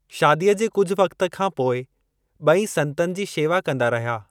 शादीअ जे कुझु वक़्त खां पोइ ब॒ई संतनि जी शेवा कंदा रहिया।